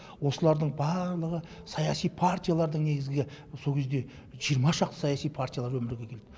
осылардың барлығы саяси партиялардың негізгі сол кезде жиырма шақты саяси партиялар өмірге келді